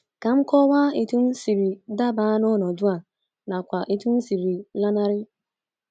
Ka m kọwaa otú m siri daba n’ọnọdụ a nakwa otú m siri lanarị.